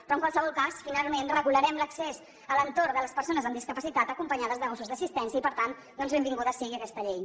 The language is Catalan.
però en qualsevol cas finalment regularem l’accés a l’entorn de les persones amb discapacitat acompanyades de gossos d’assistència i per tant doncs benvinguda sigui aquesta llei